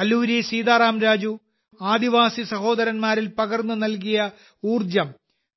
അല്ലൂരി സീതാറാം രാജു ആദിവാസിസഹോദരന്മാരിൽ പകർന്നു നൽകിയ ഊർജ്ജം